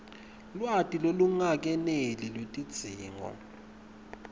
lwati lolungakeneli lwetidzingo